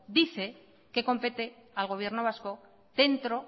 dice que compete al gobierno vasco dentro